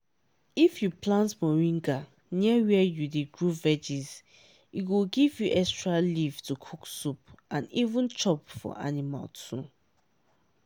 if you plant moringa near where you dey grow veggies e go give you extra leaf to cook soup and even chop for animal too.